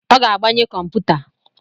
Ọ ga-agbanye kọmputa